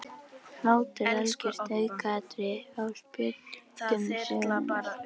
Hlátur algjört aukaatriði á spjöldum sögunnar.